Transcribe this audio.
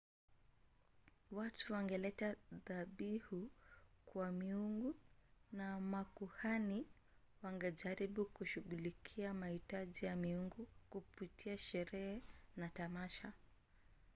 watu wangeleta dhabihu kwa miungu na makuhani wangejaribu kushughulikia mahitaji ya miungu kupitia sherehe na tamasha